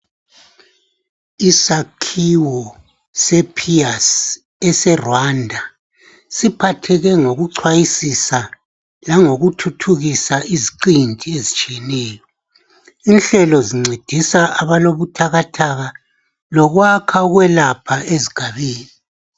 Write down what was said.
Isakhiwo sePIASS, eseRwanda., siphatheke ngokuchwayisisa langokuthuthukisa, iziqinti ezitshiyeneyo. Inhlelo zincedisa abalobuthakathaka, lokwakha ukwelapha, ezigabeni.